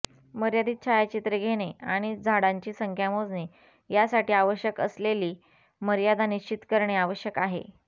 मर्यादित छायाचित्रे घेणे आणि झाडांची संख्या मोजणे यासाठी आवश्यक असलेली मर्यादा निश्चित करणे आवश्यक आहे